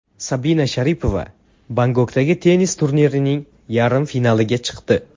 Sabina Sharipova Bangkokdagi tennis turnirining yarim finaliga chiqdi.